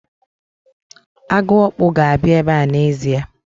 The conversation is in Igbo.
Agụokpu ga-abịa ebe n'ezie.